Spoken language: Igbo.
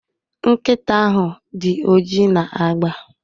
Nkịta ahụ dị oji na agba